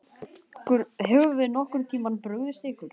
Höfum við nokkurn tímann brugðist ykkur?